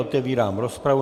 Otevírám rozpravu.